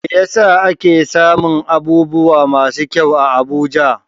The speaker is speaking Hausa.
Me yasa ake samun abubuwa masu kyau a Abuja?